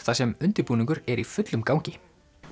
þar sem undirbúningur er í fullum gangi